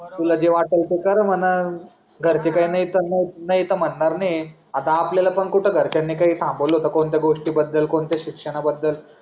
तुला जे वाटल ते कर म्हणाल घरचे काय नाही नाही तर म्हणार तर नाही आहे आता आपल्याला पण कुठे घरच्यांनी थांबवल होत कोणत्या गोष्टी बद्दल कोणत्या शिक्षणा बदल